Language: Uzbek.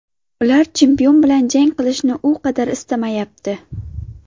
Ular chempion bilan jang qilishni u qadar istamayapti.